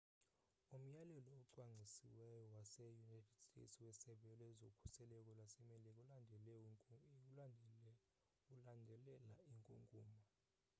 umyalelo ocwangcisiweyo wase-united states wesebe lezokhuselo lasemelika ulandelela inkunkuma